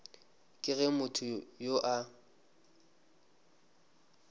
ke ge motho yo a